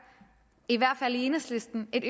i hvert fald i enhedslisten et